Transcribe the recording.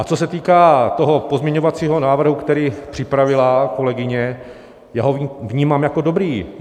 A co se týká toho pozměňovacího návrhu, který připravila kolegyně, já ho vnímám jako dobrý.